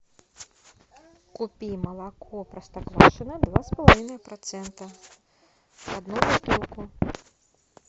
купи молоко простоквашино два с половиной процента одну бутылку